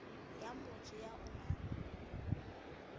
ya motho ya o nang